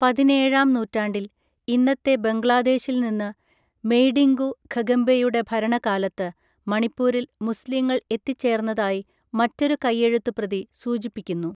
പതിനേഴാം നൂറ്റാണ്ടിൽ, ഇന്നത്തെ ബംഗ്ലാദേശിൽ നിന്ന്, മെയ്ഡിംഗു ഖഗെംബയുടെ ഭരണകാലത്ത് മണിപ്പൂരിൽ മുസ്ലീങ്ങൾ എത്തിച്ചേർന്നതായി മറ്റൊരു കയ്യെഴുത്തുപ്രതി സൂചിപ്പിക്കുന്നു.